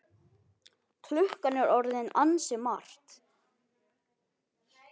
Klukkan er orðin ansi margt.